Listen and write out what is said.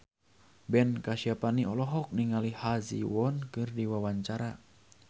Ben Kasyafani olohok ningali Ha Ji Won keur diwawancara